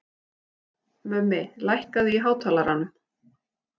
Til dæmis má taka fyrsta íslenska geimfarann, Bjarna Tryggvason.